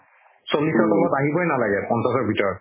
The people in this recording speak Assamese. চল্লিশৰ তলত আহিবৈ নালাগে পঞ্চাশৰ ভিতৰত